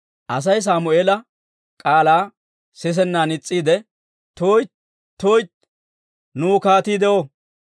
Asay Sammeela k'aalaa sisennan is's'iide, «tuytti! tuytti! Nuw kaatii de'o.